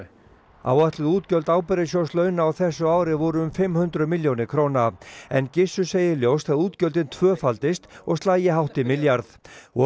áætluð útgjöld ábyrgðasjóðs launa á þessu ári voru um fimm hundruð milljónir króna en Gissur segir ljóst að útgjöldin tvöfaldist og slagi hátt í milljarð og